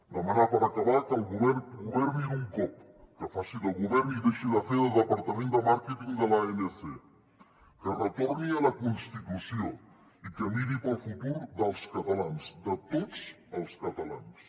demanar per acabar que el govern governi d’un cop que faci de govern i deixi de fer de departament de màrqueting de l’anc que retorni a la constitució i que miri pel futur dels catalans de tots els catalans